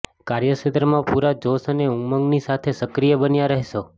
કાર્યક્ષેત્રમાં પૂરા જોશ અને ઉમંગની સાથે સક્રિય બન્યા રહેશો